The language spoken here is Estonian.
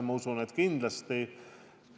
Ma usun, et kindlasti kaasatakse.